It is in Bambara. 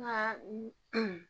Nka n